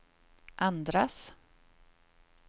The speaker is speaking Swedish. andras